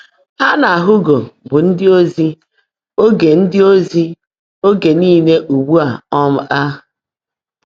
Há nà Húugó bụ́ ndị́ ózí óge ndị́ ózí óge níle ụ́gbụ́ um á.